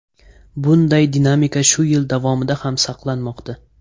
Bunday dinamika shu yil davomida ham saqlanmoqda.